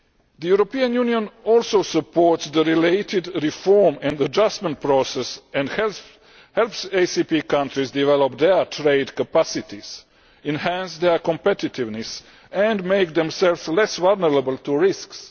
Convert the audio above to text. The European Union also supports the related reform and adjustment process and helps ACP countries to develop their trade capacities, enhance their competitiveness and make themselves less vulnerable to risks.